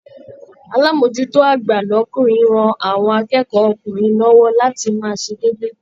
Alamojuto agba l'ọkunrin rán àwọn akẹ́kọ̀ ọ́kunrin lọwọ láti máa ṣe déédé.